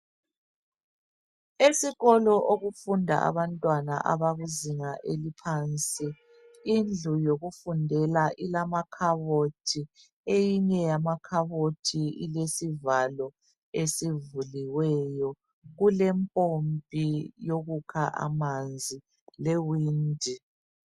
Esikolo okufunda abantwana abakuzinga eliphansi. Indlu yokufundela ilamakhabothi. Eyinye yamakhabothi ilesivalo esivuliweyo. Kulempompi yokukha amanzi lewindi.